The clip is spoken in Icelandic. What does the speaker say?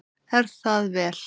Er það vel.